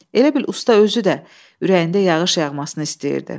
Elə bil usta özü də ürəyində yağış yağmasını istəyirdi.